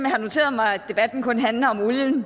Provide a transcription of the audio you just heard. har noteret mig at debatten kun handler om olien